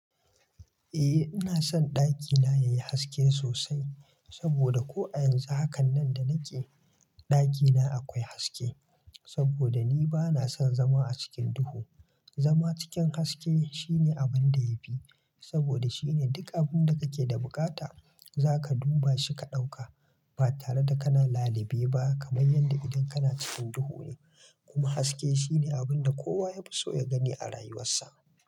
Eh ina son ɗakina yayi haske sosai, saboda ko a yanzu hakanan da nake ɗakina akwai haske. Saboda ni bana son zama a cikin duhu. Zama cikin haske shine abunda yafi, saboda shine duk abunda kake da buƙata zaka duba shi ka ɗauka. Ba tare da kana lalibe ba kamar yanda idan kana cikin duhu ne. Kuma haske shine abunda kowa yafi so ya gani a rayuwarsa.